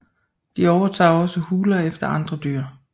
De overtager også huler efter andre dyr